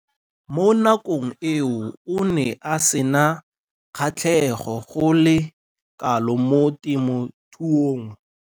Mo nakong eo o ne a sena kgatlhego go le kalo mo temothuong.